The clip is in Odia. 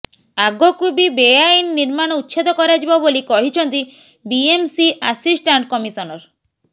ଆଗକୁ ବି ବେଆଇନ ନିର୍ମାଣ ଉଚ୍ଛେଦ କରାଯିବ ବୋଲି କହିଛନ୍ତି ବିଏମସି ଆସିଷ୍ଟାଣ୍ଡ କମିଶନର